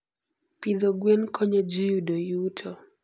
Pidho gwen konyo ji yudo yuto.